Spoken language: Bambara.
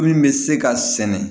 Min bɛ se ka sɛnɛ